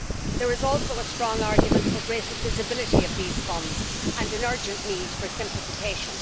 There is also a strong argument for greater visibility of these funds, and an urgent need for simplification.